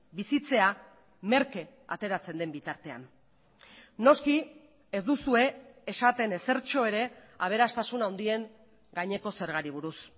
bizitzea merke ateratzen den bitartean noski ez duzue esaten ezertxo ere aberastasun handien gaineko zergari buruz